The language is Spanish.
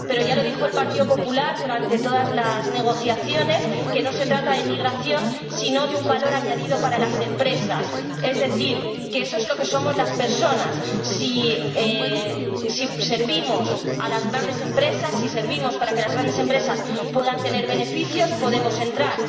Pero ya lo dijo el Partido Popular durante todas las negociaciones que no se trata de migración, sino de un valor añadido para las empresas, es decir, que eso es lo que somos las personas si servimos a las grandes empresas, si servimos para que las grandes empresas puedan tener beneficios, podemos entrar